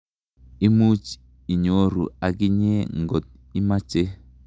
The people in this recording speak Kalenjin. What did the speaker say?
Imuch inyoru akinye ngot imache.